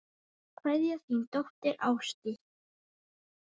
Kveðja, þín dóttir, Ásdís.